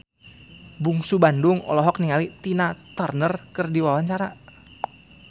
Bungsu Bandung olohok ningali Tina Turner keur diwawancara